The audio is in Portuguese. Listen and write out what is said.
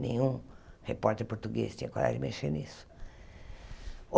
Nenhum repórter português tinha coragem de mexer nisso.